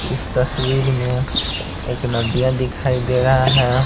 इस तस्वीर में एक नदियाँ दिखाई दे रहा है।